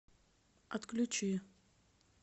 отключи